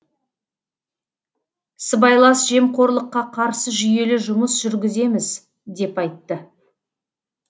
сыбайлас жемқорлыққа қарсы жүйелі жұмыс жүргіземіз деп айтты